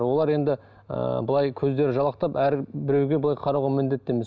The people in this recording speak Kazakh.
олар енді ыыы былай көздері жалақтап әр біреуге былай қарауға міндетті емес